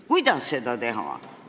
Kuidas seda teha?